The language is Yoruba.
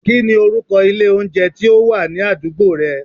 Kí ni orúkọ ilé oúnjẹ tí ó wà ní àdúgbò rẹ?